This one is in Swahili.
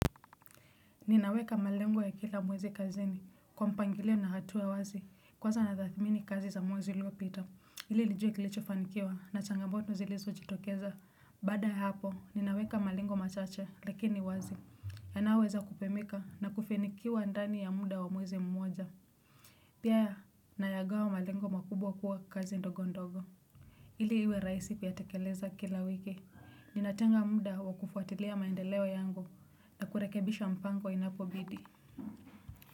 Ninaweka malengo ya kila mwezi kazini, kwa mpangilio na hatua wazi, kwanza natathmini kazi za mwezi uliopita. Ili nijue kilichofanikiwa na changamoto zilizojitokeza. Baada ya hapo, ninaweka malengo machache, lakini wazi. Yanaoweza kupimika na kufanikiwa ndani ya muda wa mwezi mmoja. Pia, nayagawa malengo makubwa kuwa kazi ndogo ndogo. Ili iwe rahisi kuyatekeleza kila wiki. Ninatenga muda wa kufuatilia maendeleo yangu na kurekebisha mpango inapobidi.